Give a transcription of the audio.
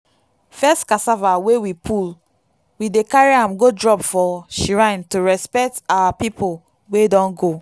first cassava wey we pull we dey carry am go drop for shrine to respect our people wey don go.